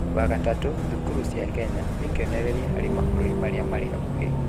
Wa gatatũ, thukuru cia Kenya nĩ kĩonereria harĩ mabũrũri marĩa marĩ hakuhĩ.